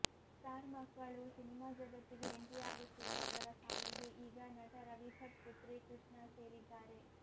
star ಮಕ್ಕಳೂ cinema ಜಗತ್ತಿಗೆ entry ಆಗುತ್ತಿರುವವರ ಸಾಲಿಗೆ ಈಗ ನಟ ರವಿಭಟ್ ಪುತ್ರಿ ಕೃಷ್ಣಾ ಸೇರಿದ್ದಾರೆ